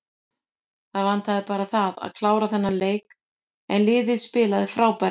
Það vantaði bara það að klára þennan leik en liðið spilaði frábærlega.